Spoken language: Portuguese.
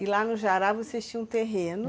E lá no jará vocês tinham terreno?